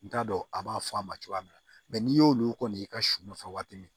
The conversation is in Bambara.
N t'a dɔn a b'a fɔ a ma cogoya min na n'i y'olu kɔni y'i ka sun nɔfɛ waati min